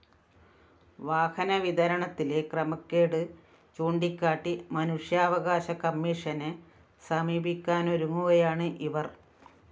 വാഹനവിതരണത്തിലെ ക്രമക്കേട് ചൂണ്ടിക്കാട്ടി മനുഷ്യാവകാശ കമ്മീഷനെ സമീപിക്കാനൊരുങ്ങുകയാണ് ഇവര്‍